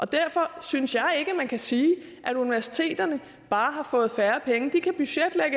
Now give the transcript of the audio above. derfor synes jeg ikke man kan sige at universiteterne bare har fået færre penge de kan budgetlægge